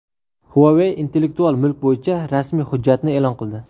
Huawei intellektual mulk bo‘yicha rasmiy hujjatni e’lon qildi.